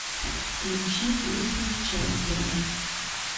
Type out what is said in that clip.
включи песню чемпион